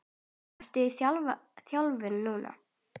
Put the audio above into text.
Ertu í þjálfun núna?